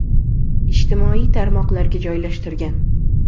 ijtimoiy tarmoqlarga joylashtirgan.